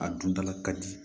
A dundala ka di